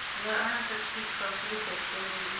ya antarctic afurika tshipembe ndi